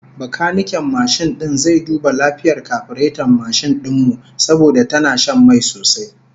Bakaniken mashin din zai duba lafiyar kafireton mashin din mu, saboda tana shan mai sosai